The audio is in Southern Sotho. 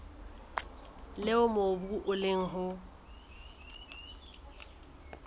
leo mobu o leng ho